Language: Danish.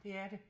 Det er det